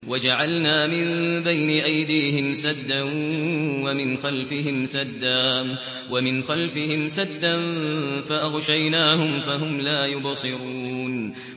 وَجَعَلْنَا مِن بَيْنِ أَيْدِيهِمْ سَدًّا وَمِنْ خَلْفِهِمْ سَدًّا فَأَغْشَيْنَاهُمْ فَهُمْ لَا يُبْصِرُونَ